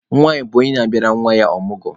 Nwanyị bụ onye na-abịara nwa ya ọmụgwọ.